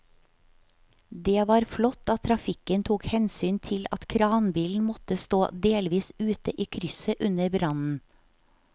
Det var flott at trafikken tok hensyn til at kranbilen måtte stå delvis ute i krysset under brannen.